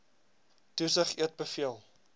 toesig eet beveel